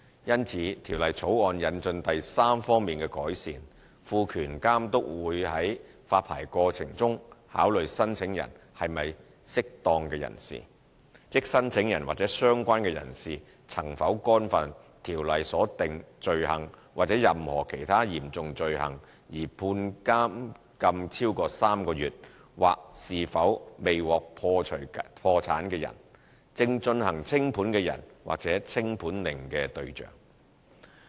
因此，《條例草案》引進第三方面的改善，賦權監督在發牌過程中考慮申請人是否"適當"人士，即申請人或相關人士曾否干犯《條例》所訂罪行或任何其他嚴重罪行而被判監禁超過3個月，或是否未獲解除破產的人、正進行清盤的人或清盤令的對象。